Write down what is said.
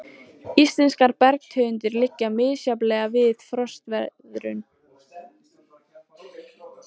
Íslenskar bergtegundir liggja misjafnlega vel við frostveðrun.